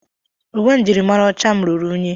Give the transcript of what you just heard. Uwe njirimara ọcha m ruru unyi.